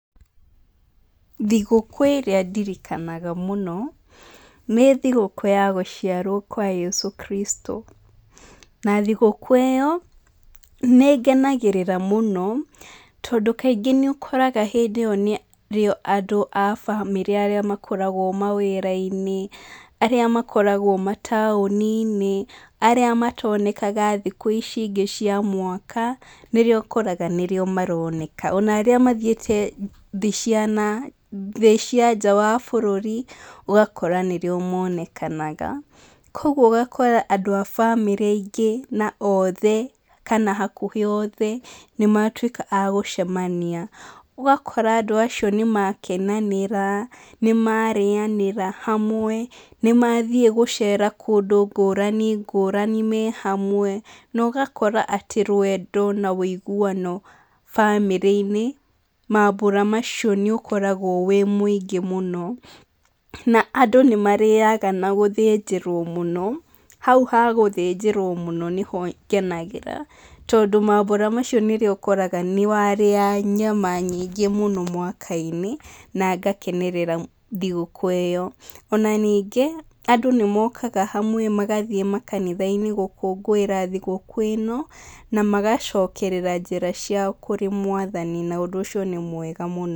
Thigũkũ ĩrĩa ndirikanaga mũno nĩ thigũkũ ya gũciarwo kwa Yesu Kristo. Na thigũkũ ĩyo nĩ ngenagĩrĩra mũno tondũ kaingĩ nĩ ũkoraga hĩndĩ ĩyo nĩrĩo andũ a famĩlĩ arĩa makoragwo mawĩra-inĩ, arĩa makoragwo mataũni-inĩ, arĩa matonekaga thikũ ici ingĩ cia mwaka, nĩrĩo ũkoraga nĩrĩo maroneka. Ona arĩa mathiĩte thĩ cia na nja wa bũrũri ũgakora nĩrĩo monekanaga. Kwoguo ũgakora andũ a famĩlĩ aingĩ na othe kana hakuhĩ othe nĩ matuĩka a gũcemania. Ũgakora andũ acio nĩ makenanĩra, nĩ marĩanĩra hamwe, nĩ mathiĩ gũcera kũndũ ngũrani ngũrani me hamwe, na ũgakora atĩ wendo na ũiguano famĩlĩ-inĩ mambũra macio nĩ ũkoragwo wĩ mũngĩ mũno. Andũ nĩ marĩaga na gũthĩnjĩrwo mũno, hau ha gũthĩnjĩrwo mũno nĩho ngenagĩra tondũ mambũra macio nĩmo ũkoraga nĩ warĩa nyama nyingĩ mwaka-inĩ na ngakenerera thigũkũ ĩyo. Ona ningĩ andũ nĩ mokaga hamwe magathiĩ makanitha-inĩ gũkũngũĩra thigũkũ ĩno na magacokerera njĩra ciao kũrĩ Mwathani na ũndũ ũcio nĩ mwega mũno.